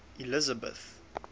elizabeth